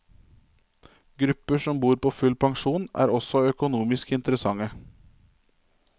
Grupper som bor på full pensjon, er også økonomisk interessante.